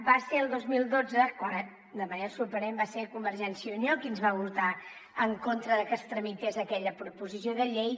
va ser el dos mil dotze quan de manera sorprenent va ser convergència i unió qui ens va votar en contra de que es tramités aquella proposició de llei